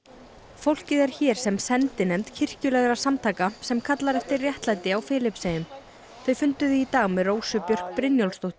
fólkið er hér sem sendinefnd kirkjulegra samtaka sem kallar eftir réttlæti á Filippseyjum þau funduðu í dag með Rósu Björk Brynjólfsdóttur